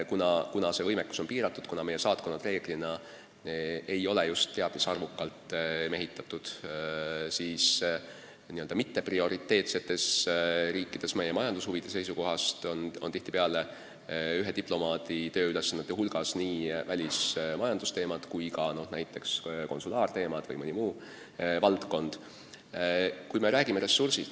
Kuna see võimekus on piiratud, kuna meie saatkonnad reeglina ei ole just teab mis arvukalt mehitatud, siis n-ö mitteprioriteetsetes riikides on ühe diplomaadi tööülesannete hulgas nii välismajandusteemad kui ka näiteks konsulaarteemad või muud valdkonnad.